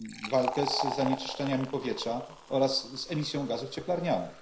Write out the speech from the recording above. walkę z zanieczyszczeniami powietrza oraz z emisją gazów cieplarnianych.